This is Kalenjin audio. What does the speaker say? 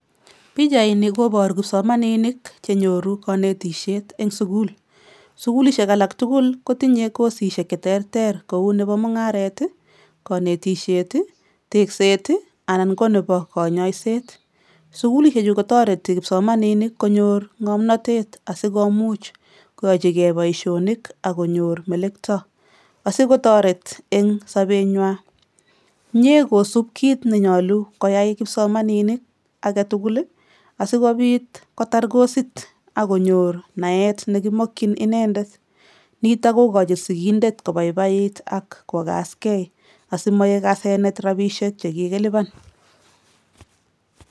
Pichaini koboru kipsomaninik che nyoru kanetisiet eng sukul, sukulishek alak tugul kotinye kosisiek che terter kou nebo mungaret ii, kanetisiet ii, tekset ii anan ko nebo kanyoiset. Sukulisiechu kotoreti kipsomaninik konyor ngomnotet asi komuch koyochigei boisionik ak konyor melekto asi kotoret eng sobenwa, mie kosup kiit nenyolu koyai kipsomaninik age tugul ii, asikobit kotar kosit ak konyor naet ne kimokchin inendet, nitok kokochin sigindet kobaibait ak kokaskei asi maek asenet rabiishek che kikilipan.